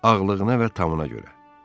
Ağlığına və tamına görə.